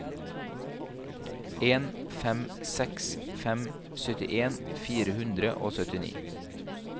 en fem seks fem syttien fire hundre og syttini